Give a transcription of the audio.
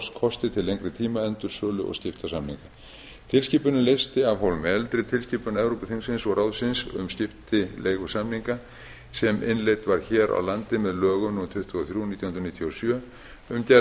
samninga um orlofskosti til lengri tíma endursölu og skiptasamninga tilskipunin leysti af hólmi eldri tilskipun evrópuþingsins og ráðsins um skiptileigusamninga sem innleidd var hér á landi með lögum númer tuttugu og þrjú nítján hundruð níutíu og sjö um gerð